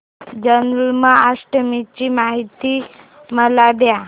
जन्माष्टमी ची माहिती मला दे